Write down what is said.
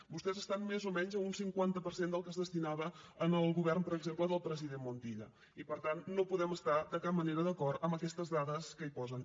vostès estan més o menys a un cinquanta per cent del que hi destinava el govern per exemple del president montilla i per tant no podem estar de cap manera d’acord en aquestes dades que hi posen